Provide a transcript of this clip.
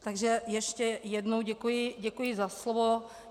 Takže ještě jednou děkuji za slovo.